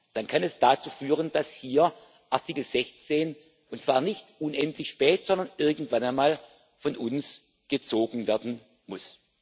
etc. dann kann es dazu führen, dass hier Artikel 116, und zwar nicht unendlich spät, sondern irgendwann einmal, von uns gezogen werden muss.